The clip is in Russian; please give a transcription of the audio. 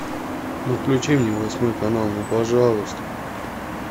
ну включи мне восьмой канал ну пожалуйста